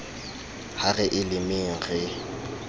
ha re e lemeng re